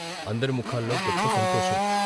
అందరి ముఖాల్లో గొప్ప సంతోషం.